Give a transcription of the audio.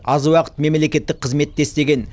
аз уақыт мемлекеттік қызметте істеген